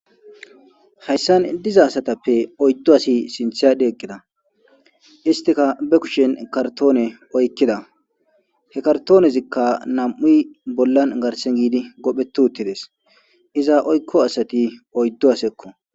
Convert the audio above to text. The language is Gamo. hayssan diza asatappe oyddu asi sinthyade eqqida istika be kushen kartoone oykkida he kartoonezikka nam7uy bollan garsen giidi gophetu uttides iza oykko asati oyddu asekko